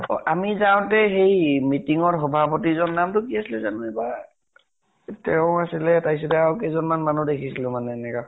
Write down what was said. অ আমি যাওঁতে সেই meeting ৰ সভাপতিজন নাম্টো কি আছিলে জানো এইবাৰ? তেওঁ আছিলে তাপিছতে আৰু কেইজন মান মানুহ দেখিছিলো মানে এনেকা।